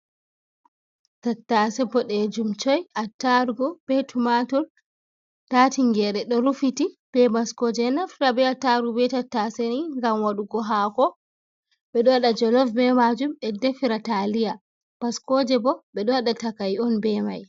Tattase boɗejum Choi, attarugu be tumatur, nda tingere ɗo rufiti be bascoje, ɓeɗo naftira be attarugu ɓe tattase ni ngam waɗugo hako, ɓeɗo wada jolof be majum, be defira taliya, bascoje bo ɓeɗo waɗa takai on be mai.